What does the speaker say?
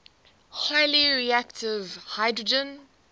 highly reactive hydrogen